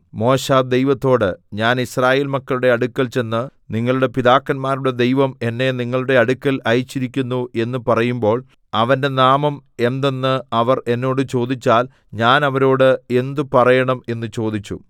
മോശെ ദൈവത്തോട് ഞാൻ യിസ്രായേൽ മക്കളുടെ അടുക്കൽ ചെന്ന് നിങ്ങളുടെ പിതാക്കന്മാരുടെ ദൈവം എന്നെ നിങ്ങളുടെ അടുക്കൽ അയച്ചിരിക്കുന്നു എന്ന് പറയുമ്പോൾ അവന്റെ നാമം എന്തെന്ന് അവർ എന്നോട് ചോദിച്ചാൽ ഞാൻ അവരോട് എന്ത് പറയണം എന്ന് ചോദിച്ചു